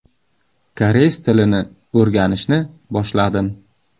Koreys tilini o‘rganishni boshladim.